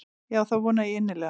Já það vona ég innilega.